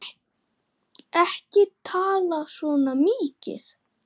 Ekki tala svona mikið!